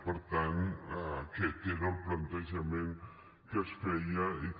per tant aquest era el plantejament que es feia i que